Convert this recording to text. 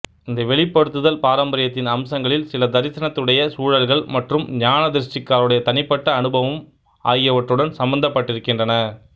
இந்த வெளிப்படுத்தல் பாரம்பரியத்தின் அம்சங்களில் சில தரிசனத்துடைய சூழல்கள் மற்றும் ஞானதிருஷ்டிக்காரருடைய தனிப்பட்ட அனுபவம் ஆகியவற்றுடன் சம்பந்தப்பட்டிருக்கின்றன